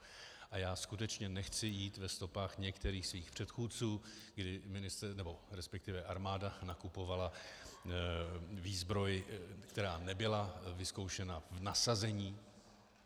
A já skutečně nechci jít ve stopách některých svých předchůdců, kdy armáda nakupovala výzbroj, která nebyla vyzkoušena v nasazení.